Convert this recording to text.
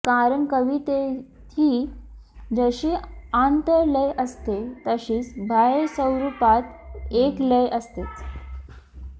कारण कवितेतही जशी आंतर लय असते तशीच बाह्यस्वरूपात एक लय असतेच